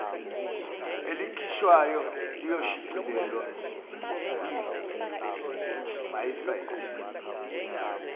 elikhishwayo liyoshicilelwa kwiwebsayithi